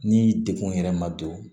Ni degkun yɛrɛ ma don